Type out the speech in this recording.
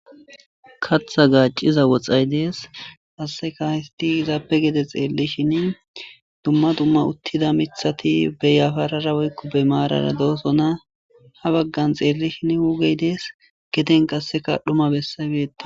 Katha gaacciza woxxay dees hasaseka histi izaappe gede xeelli shin dumma dumma uttida mithati beyafarara woykko be maarara doosona ha baggan xeelli shin wugey dees geten qasseka dhuma bessabietta.